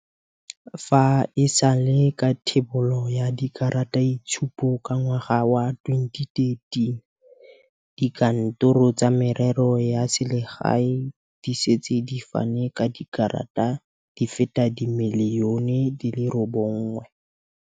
Fa e sale ka thebolo ya dikarataitshupo ka ngwaga wa 2013, dikantoro tsa Merero ya Selegae di setse di fane ka dikarata di feta dimiliyone di le robongwe.